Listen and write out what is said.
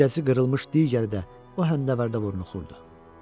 Üzgəci qırılmış digəri də o həmdəvərdə vurnuxurdu.